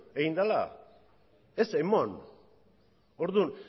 egin dela ez emon orduan